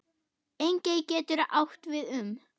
Engey getur átt við um